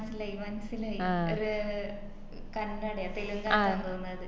മനസ്സിലായി മനസ്സിലായി ഒര് കന്നഡയോ തെലുങ്കാറ്റാന്ന് തോന്നിന്ന് അത്